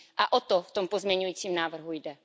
A o to v tom pozměňovacím návrhu jde.